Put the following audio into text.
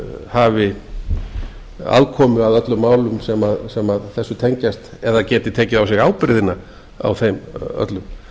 hafi aðkomu að öllum málum sem tengjast eða geti tekið á sig ábyrgðina á þeim öllum